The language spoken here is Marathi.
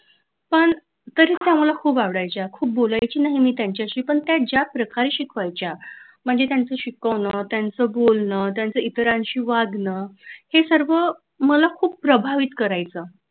पण तरी ते आम्हाला खूप आवडायच्या खूप बोलायची नाही मी त्यांच्याशी पण त्या ज्याप्रकारे शिकवायच्या म्हणजे त्यांचं शिकवण त्यांच बोलन त्यांचा इतरांशी वागणं हे सर्व मला खूप प्रभावित करायचं.